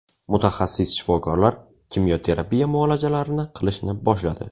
Mutaxassis shifokorlar kimyo terapiya muolajalarini qilishni boshladi.